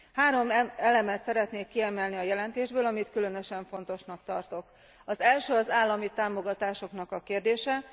Három elemet szeretnék kiemelni a jelentésből, amit különösen fontosnak tartok az első az állami támogatások kérdése.